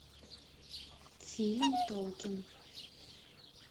фильм толкин